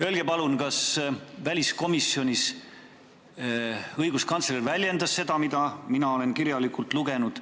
Öelge palun, kas õiguskantsler väljendas väliskomisjonis seda, mida mina olen kirjalikult lugenud.